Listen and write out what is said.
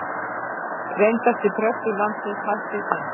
Reyndasti prestur landsins hættir senn